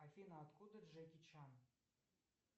афина откуда джеки чан